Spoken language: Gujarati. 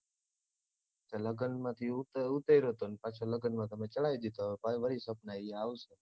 લગ્નમાંથી ઉતર્યો તો અને પાછો લગ્નમાં તમે ચડાઈ દીધો પાછો વળી પ્રશ્ન ઈ આવશે